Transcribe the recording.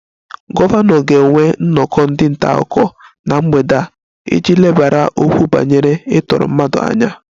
Gọvanọ ga-enwe nnọkọ ndị nta akụkọ na mgbede a iji lebara okwu banyere ịtọrọ mmadụ anya